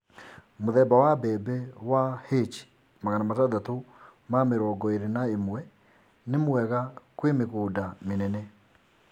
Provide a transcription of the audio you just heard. Mũthemba wa mbembe wa H621 ni mwega kwĩ mĩgũnda mĩnene